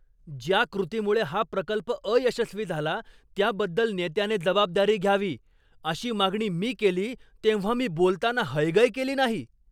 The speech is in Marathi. ज्या कृतीमुळे हा प्रकल्प अयशस्वी झाला, त्याबद्दल नेत्याने जबाबदारी घ्यावी, अशी मागणी मी केली तेव्हा मी बोलताना हयगय केली नाही.